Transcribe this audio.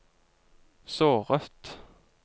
såret